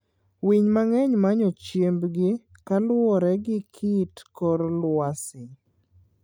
Winy mang'eny manyo chiembgi kaluore gi kit kor lwasi.